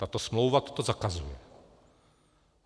Tato smlouva toto zakazuje.